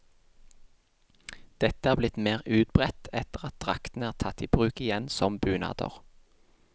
Dette er blitt mer utbredt etter at draktene er tatt i bruk igjen som bunader.